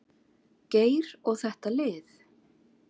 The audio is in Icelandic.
Geir og þetta lið.